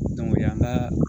o y'an ka